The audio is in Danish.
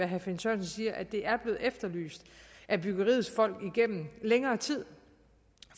herre finn sørensen siger at det er blevet efterlyst af byggeriets folk igennem længere tid